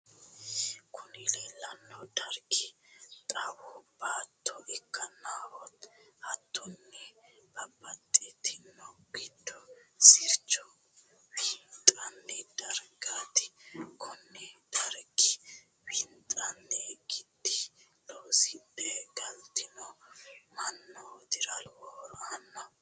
kuni leellanno dargi xawu baatto ikkanna hattonni babbaxxinoha gidu sircho winxoonni dargati. kunni dargira winxoonni gidi loosidhe galtino mannootira lowo horo aanno.